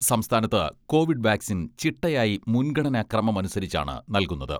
സംസ്ഥാനത്ത് Covid vaccine ചിട്ടയായി മുൻഗണനാ ക്രമമനുസരിച്ചാണ് നൽകുന്നത്.